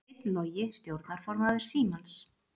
Steinn Logi stjórnarformaður Símans